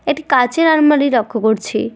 একটি কাঁচের আলমারি লক্ষ্য করছি।